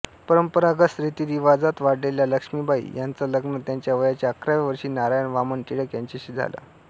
परंपरागत रीतिरीवाजात वाढलेल्या लक्ष्मीबाई यांचं लग्न त्यांच्या वयाच्या अकराव्या वर्षी नारायण वामन टिळक यांच्याशी झाले